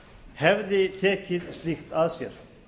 hefði tekið slíkt að sér